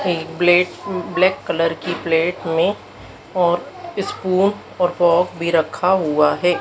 Plate black colour की plate में और स्पून और पोक भी रखा हुआ है।